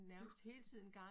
Du